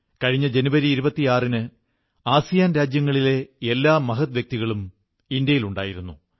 കഴിഞ്ഞ ജനുവരി 26 ന് ആസിയാൻ രാജ്യങ്ങളിലെ എല്ലാ മഹദ്വ്യക്തികളും ഇവിടെയുണ്ടായിരുന്നു